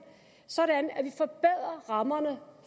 sådan at vi forbedrer rammerne